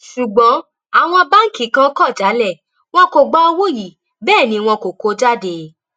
ṣùgbọn àwọn báǹkì kan kò jalè wọn kò gba owó yìí bẹẹ ni wọn kò kọ ọ jáde